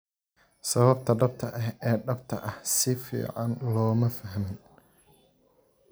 Sababta dhabta ah ee dhabta ah si fiican looma fahmin.